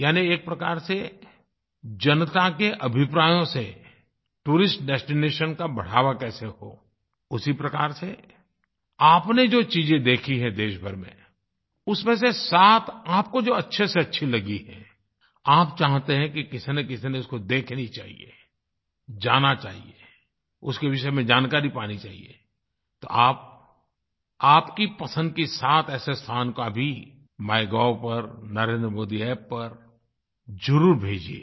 यानि एक प्रकार से जनता के अभिप्रायों से टूरिस्ट डेस्टिनेशन का बढ़ावा कैसे हो उसी प्रकार से आपने जो चीजें देखी हैं देशभर में उसमें से सात आपको जो अच्छे से अच्छी लगी हैं आप चाहते हैं कि किसीनकिसी ने तो इसको देखनी चाहिये जाना चाहिये उसके विषय में जानकारी पानी चाहिये तो आप आपकी पसंद की सात ऐसे स्थान का भी माइगोव पर NarendraModiApp पर ज़रूर भेजिये